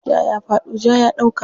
Ja ya faɗo, ja ya ɗauka.